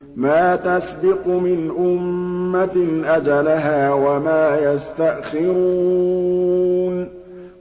مَّا تَسْبِقُ مِنْ أُمَّةٍ أَجَلَهَا وَمَا يَسْتَأْخِرُونَ